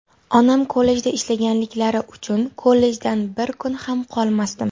Onam kollejda ishlaganliklari uchun kollejdan bir kun ham qolmasdim.